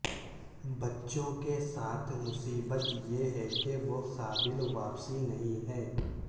بچوں کے ساتھ مصیبت یہ ہے کہ وہ قابل واپسی نہیں ہیں